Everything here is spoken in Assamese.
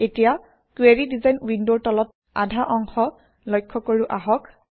এতিয়া কুৱেৰি ডিজাইন উইণ্ডৰ তলৰ আধা অংশ লক্ষ্য কৰোঁ আহক